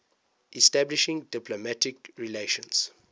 establishing diplomatic relations